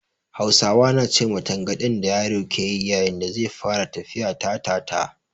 Hausawa na ce ma tangaɗin da yaro ke yi yayin da zai fara tafiya "Ta-ta-ta".